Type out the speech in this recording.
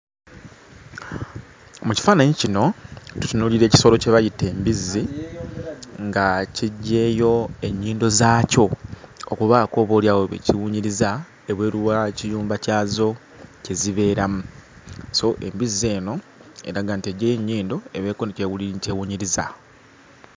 Mu kifaananyi kino tutunuulira ekisolo kye bayita embizzi nga kiggyeeyo ennyindo zaakyo okubaako oboolyawo bye kiwunyiriza ebweru w'ekiyumba zaakyo kye zibeeramu. So embizzi eno eraga nti eggyeeyo ennyindo ebeeko ne ky'ewunyiriza.